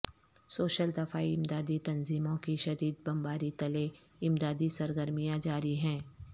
civil دفاعی امدادی تنظیموں کی شدید بمباری تلے امدادی سرگرمیاں جاری ہیں